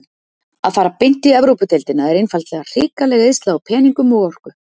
Að fara beint í Evrópudeildina er einfaldlega hrikaleg eyðsla á peningum og orku.